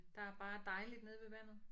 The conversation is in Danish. Der er bare dejligt nede ved vandet